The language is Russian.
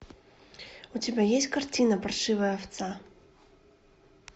у тебя есть картина паршивая овца